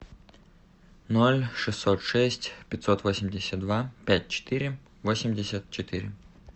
ноль шестьсот шесть пятьсот восемьдесят два пять четыре восемьдесят четыре